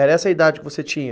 Era essa a idade que você tinha?